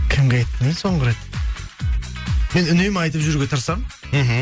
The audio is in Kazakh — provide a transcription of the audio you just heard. кімге айттым соңғы рет мен үнемі айтып жүруге тырысамын мхм